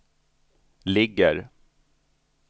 ligger